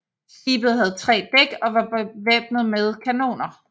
Skibet havde tre dæk og var bevæbnet med kanoner